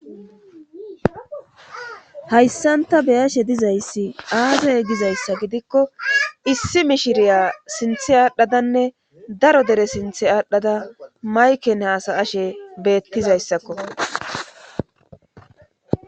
hayssanta beyashe dizayssi aazey gizayssa gidikko issi mishiriya sinthe aadhdhadanne daro dere sinthe aadhdhada mayken haasa ashe beettizayssakko